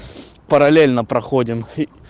параллельно проходим